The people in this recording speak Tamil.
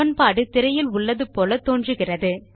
சமன்பாடு திரையில் உள்ளது போல தோன்றுகிறது